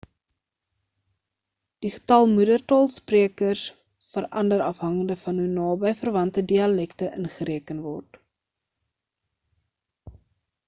die getal moedertaal sprekers verander afhangende van hoe naby verwante dialekte ingereken word